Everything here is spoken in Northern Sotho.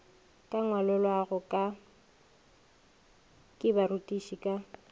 ka ngwalollwago ke barutiši ka